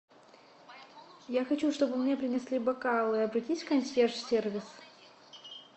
я хочу чтобы мне принесли бокалы обратись в консьерж сервис